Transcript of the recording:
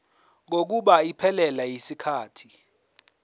kokuba iphelele yisikhathi